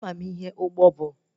Ama m ihe ụgbọ bụ